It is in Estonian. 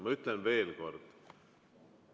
Ma ütlen veel kord.